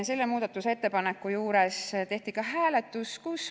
Selle muudatusettepaneku juures tehti ka hääletus.